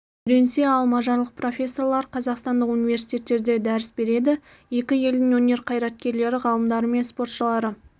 үйренсе ал мажарлық профессорлар қазақстандық университеттерде дәріс береді екі елдің өнер қайраткерлері ғалымдары мен спортшылары